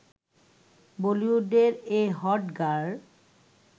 বলিউডের এ hot girl